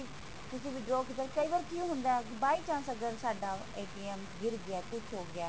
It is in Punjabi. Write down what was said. ਤੁਸੀਂ withdraw ਕੀਤਾ ਕਈ ਵਾਰ ਕਿ ਹੁੰਦਾ ਹੈ ਕਿ by chance ਅਗਰ ਸਾਡਾ ਗਿਰ ਗਿਆ ਕੁੱਛ ਹੋ ਗਿਆ